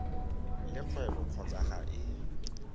le kgwebo kgotsa ga e